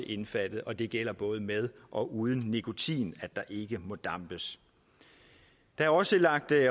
indbefattet og det gælder både med og uden nikotin at der ikke må dampes der er også lagt